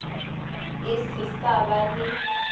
e se sa ba le